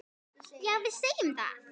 Já, við segjum það.